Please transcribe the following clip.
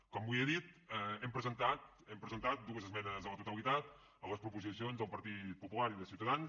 com els he dit hem presentat dues esmenes a la totalitat a les proposicions del partit popular i de ciutadans